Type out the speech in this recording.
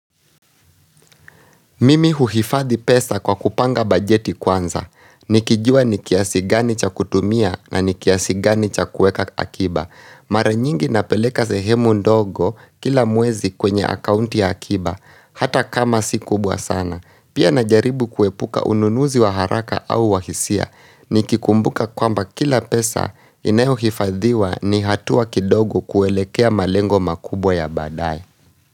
Mimi huhifadhi pesa kwa kupanga bajeti kwanza. Nikijua nikiasi gani cha kutumia na nikiasi gani cha kueka akiba. Mara nyingi napeleka sehemu ndogo kila mwezi kwenye akaunti ya akiba, hata kama si kubwa sana. Pia najaribu kuepuka ununuzi wa haraka au wahisia. Nikikumbuka kwamba kila pesa inayohifadhiwa ni hatua kidogo kuelekea malengo makubwa ya badaye.